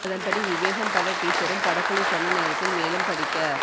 அதன்படி விவேகம் பட டீஸரும் படக்குழு சொன்ன நேரத்தில் மேலும் படிக்க